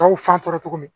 Tɔw fan tɔ min